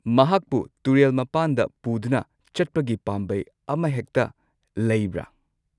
ꯃꯍꯥꯛꯄꯨ ꯇꯨꯔꯦꯜ ꯃꯄꯥꯟꯗ ꯄꯨꯗꯨꯅ ꯆꯠꯄꯒꯤ ꯄꯥꯝꯕꯩ ꯑꯃꯍꯦꯛꯇ ꯂꯩꯕ꯭ꯔꯥ?